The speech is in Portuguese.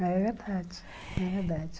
É verdade, é verdade.